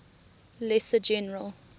lesser general